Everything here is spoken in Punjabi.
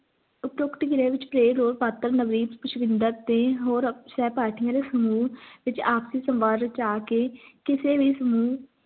ਉਪਰੋਕਤ ਕ੍ਰਿਆ ਵਿਚ play role ਪਾਤਰ ਨਵੀਨ ਪੁਸ਼ਪਿੰਦਰ ਤੇ ਹੋਰ ਪਾਰਟੀਆਂ ਦੇ ਸਮੂਹ ਵਿਚ ਆਪਸੀ ਸਵਰ ਵਿਚ ਆ ਕੇ ਕਿਸੇ ਵੀ ਸਮੂਹ